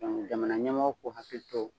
jamana ɲɛmaaw k'u hakili to